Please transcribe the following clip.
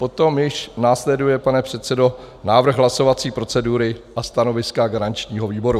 Potom již následuje, pane předsedo, návrh hlasovací procedury a stanoviska garančního výboru.